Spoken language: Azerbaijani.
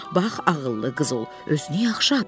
Bax ağıllı qız ol, özünü yaxşı apar.